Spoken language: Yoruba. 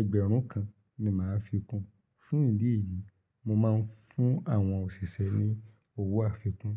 ẹgbẹ̀rún kan ni màá fi kún. Fún ìdí èyí, mo máa ń fún àwọn òṣìṣẹ́ ní owó àfikún.